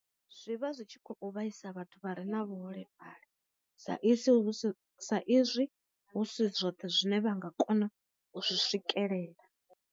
Zwi vha zwi tshi kho u vhaisa vhathu vha re na vhu holefhali sa izwi hu sa izwi hu si zwoṱhe zwine vha nga kona u zwi swikelela.